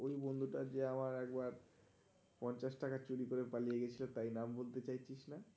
তুই ওই বন্ধুটা যে আমার একবার পঞ্চাশ টাকা চুরি করে পালিয়ে গেছিলিস, তাই নাম বলতে চাচ্ছিস না?